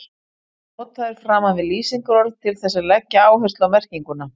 Hann er notaður framan við lýsingarorð til þess að leggja áherslu á merkinguna.